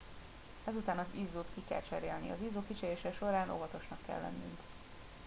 ezután az izzót ki kell cserélni az izzó kicserélése során óvatosnak kell lennünk